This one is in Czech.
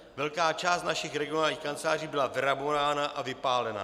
Velká část našich regionálních kanceláří byla vyrabována a vypálena.